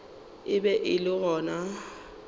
e be e le gona